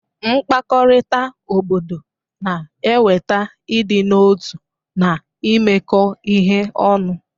Mkpakọrịta obodo na-eweta ịdị n'otu na imekọ ihe ọnụ.